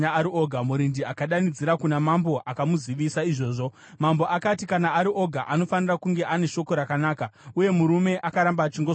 Murindi akadanidzira kuna mambo akamuzivisa izvozvo. Mambo akati, “Kana ari oga, anofanira kunge ane shoko rakanaka.” Uye murume akaramba achingoswedera.